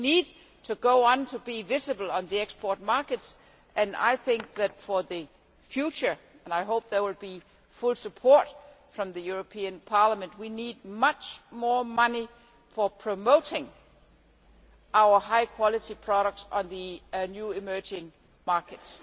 So we need to go on being visible on the export markets, and I think that for the future and I hope there will be full support from the European Parliament we need much more money for promoting our high quality products on the new emerging markets.